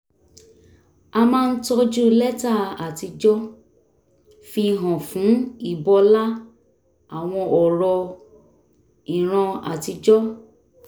a máa ń tọ́jú lẹ́tà àtijọ́ fi hàn fún ìbọlá àwọn ọ̀rọ̀ ìran àtijọ́